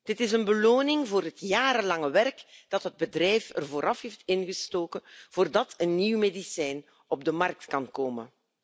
Dit is een beloning voor het jarenlange werk dat het bedrijf er vooraf heeft ingestoken voordat een nieuw medicijn op de markt kan komen.